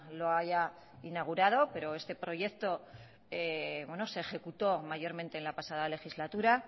lo haya inaugurado pero este proyecto se ejecutó mayormente en la pasada legislatura